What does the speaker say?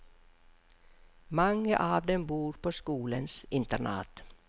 Mange av dem bor på skolens internat.